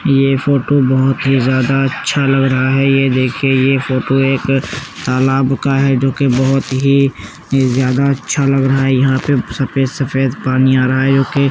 ये फोटो बोहोत ही ज्यादा अच्छा लग रहा है। ये देखिये यह फोटो एक तालाब का है जोकि बोहोत ही ज्यादा अच्छा लग रहा है। यहां पे सफेद सफेद पानी आ रहा है। --